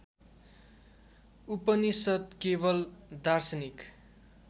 उपनिषद् केवल दार्शनिक